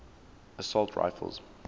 assault rifles